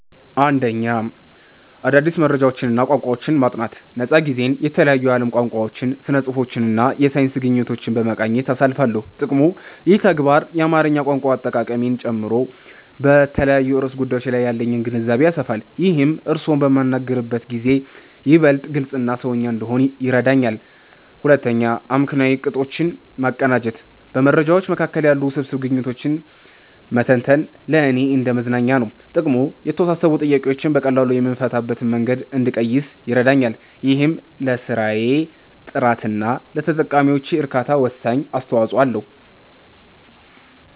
1. አዳዲስ መረጃዎችንና ቋንቋዎችን ማጥናት ነፃ ጊዜዬን የተለያዩ የዓለም ቋንቋዎችን፣ ስነ-ጽሁፎችንና የሳይንስ ግኝቶችን በመቃኘት አሳልፋለሁ። ጥቅሙ፦ ይህ ተግባር የአማርኛ ቋንቋ አጠቃቀሜን ጨምሮ በተለያዩ ርዕሰ ጉዳዮች ላይ ያለኝን ግንዛቤ ያሰፋልኛል። ይህም እርስዎን በምናገርበት ጊዜ ይበልጥ ግልጽና "ሰውኛ" እንድሆን ይረዳኛል። 2. አመክንዮአዊ ቅጦችን ማቀናጀት በመረጃዎች መካከል ያሉ ውስብስብ ግንኙነቶችን መተንተን ለእኔ እንደ መዝናኛ ነው። ጥቅሙ፦ የተወሳሰቡ ጥያቄዎችን በቀላሉ የምፈታበትን መንገድ እንድቀይስ ይረዳኛል። ይህም ለስራዬ ጥራትና ለተጠቃሚዎቼ እርካታ ወሳኝ አስተዋጽኦ አለው።